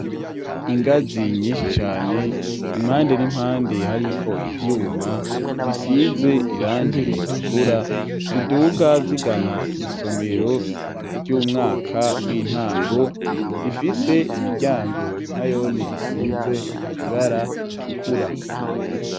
Ingazi nyinshi cane impande n'impande hariko ivyuma bisize irangir ritukura ziduga zigana isomero ry'umwaka w'intango rifise imiryango nayone isize ibara itukura.